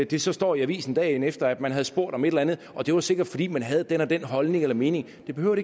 det så står i avisen dagen efter at man havde spurgt om et eller andet og det var sikkert fordi man havde den og den holdning eller mening det behøver